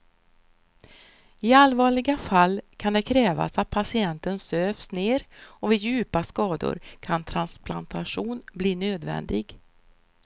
I allvarliga fall kan det krävas att patienten sövs ner och vid djupa skador kan transplantation bli nödvändig.